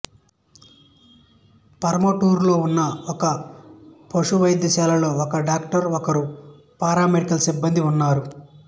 పరమటూరులో ఉన్న ఒక పశు వైద్యశాలలో ఒక డాక్టరు ఒకరు పారామెడికల్ సిబ్బందీ ఉన్నారు